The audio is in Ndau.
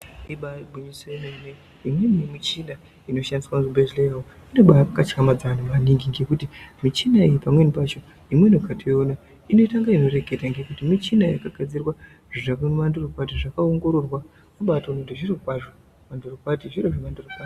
Ibari gwinyiso yemene imweni yemuchina inoshandiswa muzvibhedhleya umu inobakatyamadza anhu maningi ngekuti muchina iyi pamweni pacho imweni ukatoiona inenga yeireketa Ngekuti muchina yakagadzirwa zvakandorokwati zvakaongororwa kubaatoone kuti zviro kwazvi mandoro kwati zviro zvemandoro kwati.